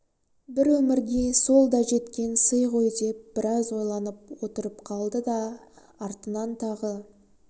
бір өмірге сол да жеткен сый ғой деп біраз ойланып отырып қалды да артынан тағы